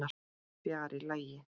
Fjarri lagi.